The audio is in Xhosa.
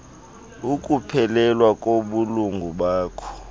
ukuphelelwa kobulungu bakho